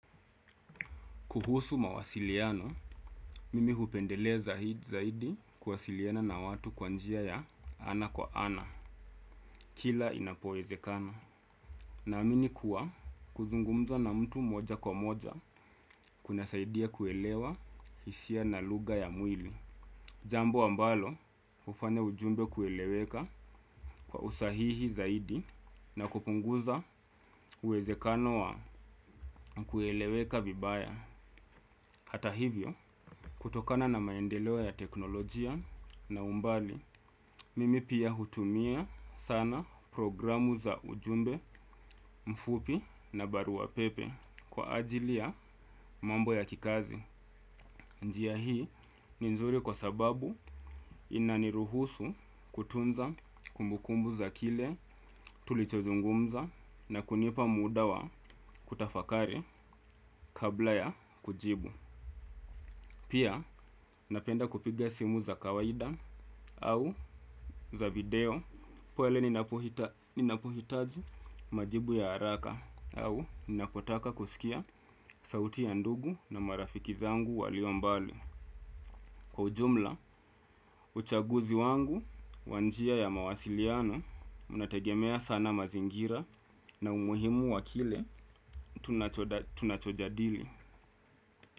Kuhusu mawasiliano, mimi hupendelea zaidi kuwasiliana na watu kwanjia ya ana kwa ana, kila inapoezekana. Na amini kuwa kuzungumza na mtu moja kwa moja kuna saidia kuelewa hisia na luga ya mwili. Jambo ambalo ufanya ujumbe kueleweka kwa usahihi zaidi na kupunguza uwezekano wa kueleweka vibaya. Hata hivyo, kutokana na maendeleo ya teknolojia na umbali, mimi pia hutumia sana programu za ujumbe mfupi na barua pepe kwa ajili ya mambo ya kikazi. Njia hii ni nzuri kwa sababu inaniruhusu kutunza kumbukumbu za kile tulichozungumza na kunipa muda wa kutafakari kabla ya kujibu. Pia, napenda kupiga simu za kawaida au za video poele ninapohitaji majibu ya haraka au ninapotaka kusikia sauti ya ndugu na marafiki zangu walio mbali. Kwa ujumla, uchaguzi wangu wanjia ya mawasiliano unategemea sana mazingira na umuhimu wa kile tunachojadili.